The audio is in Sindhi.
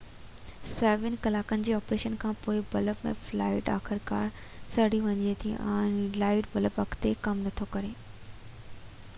سوين ڪلاڪن جي آپريشن کان پوءِ بلب ۾ فلامينٽ آخرڪار سڙي وڃي ٿو ۽ لائٽ بلب اڳتي ڪم نٿو ڪري